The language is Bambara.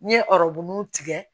N ye ɔrɔbu tigɛ